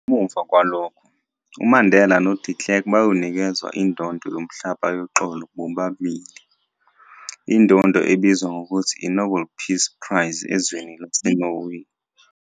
Ngemuva kwalokho, uMandela noDe Klerk bayonikezwa indondo yomhlaba yoxolo bobabili, indondo ebizwa ngokuthi i-Nobel Peace Prize ezweni laseNorway.